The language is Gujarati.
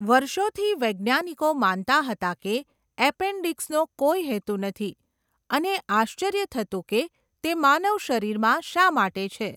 વર્ષોથી, વૈજ્ઞાનિકો માનતા હતા કે એપેન્ડીક્સનો કોઈ હેતુ નથી, અને આશ્ચર્ય થતું કે તે માનવ શરીરમાં શા માટે છે.